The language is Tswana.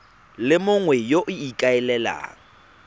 le mongwe yo o ikaelelang